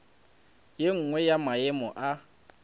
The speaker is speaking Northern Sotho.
ye nngwe ya maemo a